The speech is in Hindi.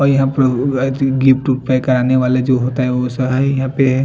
वाइट गिट्टी रिपेयर करवाने वाले जो होते है वो सही है यहाँ पे --